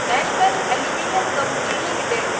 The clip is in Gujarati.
national aluminium company limited